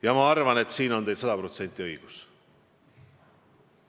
Ja ma arvan, et teil on sada protsenti õigus.